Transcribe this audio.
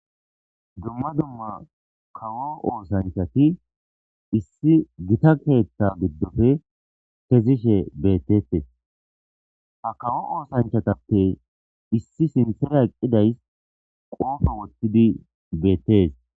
dumma dumma kawo oosanchati issi gita keetta giddofe kezishe bettetes ha kawo oosanchatappe issi sinthera eqqidays qoofo wottidi beettees